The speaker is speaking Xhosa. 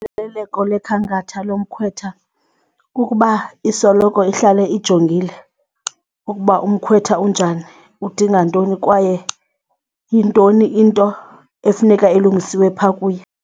lekhankatha lomkhwetha kukuba isoloko ihlale ijongile ukuba umkhwetha unjani, udinga ntoni kwaye yintoni into efuneka ilungisiwe phaa kuye.